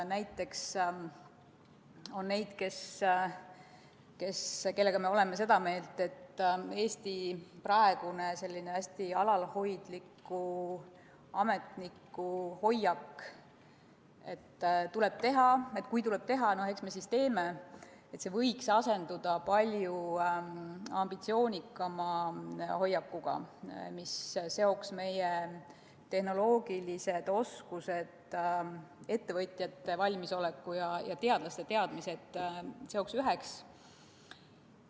Näiteks on neid, kellega koos me oleme seda meelt, et Eesti praegune selline hästi alalhoidliku ametniku hoiak, et kui tuleb teha, eks me siis teeme, võiks asenduda palju ambitsioonikama hoiakuga, mis seoks meie tehnoloogilised oskused, ettevõtjate valmisoleku ja teadlaste teadmised üheks.